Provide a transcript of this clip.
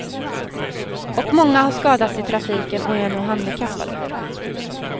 Och många har skadats i trafiken och är nu handikappade.